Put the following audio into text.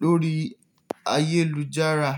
lórí ayélujára.